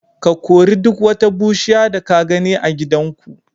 Ka kori duk wata bushiya da ka gani a gidanku.